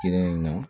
Kelen na